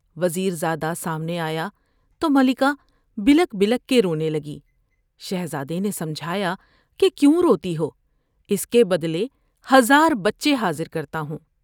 وز یرزا دہ سامنے آیا تو ملکہ بلک بلک کے رونے لگی ۔شہزادے نے سمجھایا کہ کیوں روتی ہو ، اس کے بدلے ہزار بچے حاضر کرتا ہوں ۔